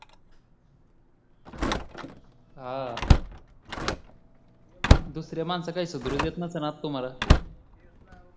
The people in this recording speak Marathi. हा दुसरे माणसं काय सुधरु देत नसतेल तुम्हाला तेच ना